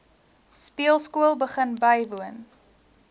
speelskool begin bywoon